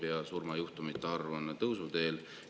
Ka surmajuhtumite arv on tõusuteel.